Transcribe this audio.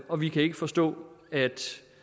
og vi kan ikke forstå at